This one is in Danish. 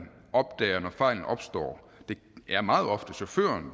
opdager når fejlen opstår det er meget ofte chaufføren